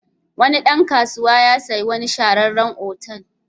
Wani dan kasuwa ya sayi wani shahararren otal.